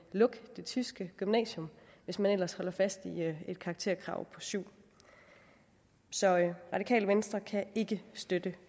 lukke det tyske gymnasium hvis man ellers holder fast i et karakterkrav på syvende så radikale venstre kan ikke støtte